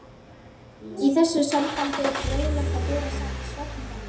Í þessu sambandi er fróðlegt að bera saman svefnvenjur